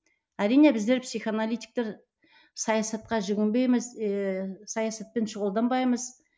әрине біздер психоаналитиктер саясатқа жүгінбейміз еее саясатпен шұғылданбаймыз